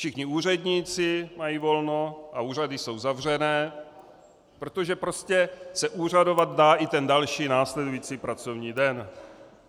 Všichni úředníci mají volno a úřady jsou zavřené, protože prostě se úřadovat dá i ten další následující pracovní den.